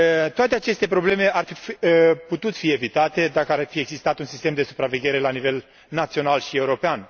Toate aceste probleme ar fi putut fi evitate, dacă ar fi existat un sistem de supraveghere la nivel național și european.